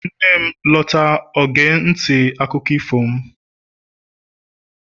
nne lota, o ga nti akuko ifo m